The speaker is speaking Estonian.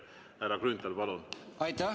Härra Grünthal, palun!